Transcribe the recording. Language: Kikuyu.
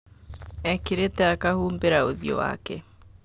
Ekĩrĩte akahumbĩra ũthio wake.